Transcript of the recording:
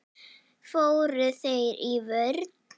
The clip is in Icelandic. Fóru þeir í vörn?